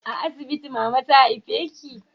A asibiti mama ta haife ki